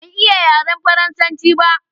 ban iya yaren faransanci ba